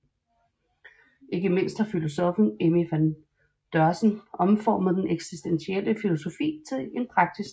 Ikke mindst har filosoffen Emmy van Deurzen omformet den eksistentielle filosofi til en praktisk terapi